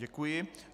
Děkuji.